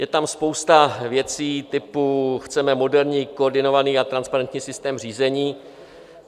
Je tam spousta věcí typu "chceme moderní, koordinovaný a transparentní systém řízení".